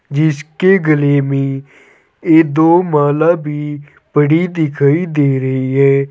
जिसके गले में ये दो माला भी पड़ी दिखाई दे रही है।